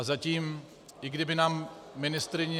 A zatím, i kdyby nám ministryně...